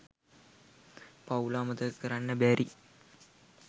පවුල අමතක කරන්න බැරි.